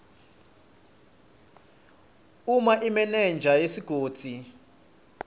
uma imenenja yesigodzi